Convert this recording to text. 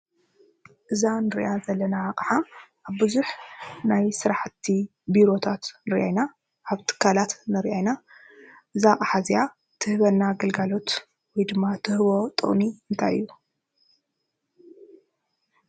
እዛ እንሪኣ ዘለና ኣቕሓ ኣብ ቡዙሕ ናይ ስራሕቲ ቢሮታት ንሪኢ ኢና ። ኣብ ትካላት ንሪኣ ኢና ። እዛ ኣቕሓ እዚኣ ትህበና ግልጋሎት ወይ ድማ ትህቦ ጥቅሚ እንታይ እዩ።